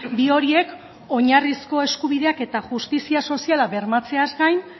bi horiek oinarrizko eskubideak eta justizia soziala bermatzeaz gain